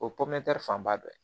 O fanba dɔ ye